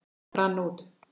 Hann brann út.